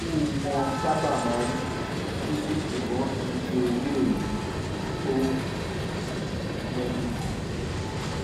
irú wọn sábà máa ń dúdú ṣùgbọ́n kì í ṣe irú èyí tó o mẹ́nu kàn